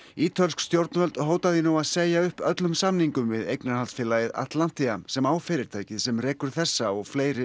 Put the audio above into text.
ítölsk stjórnvöld hóta því nú að segja upp öllum samningum við eignarhaldsfélagið sem á fyrirtækið sem rekur þessa og fleiri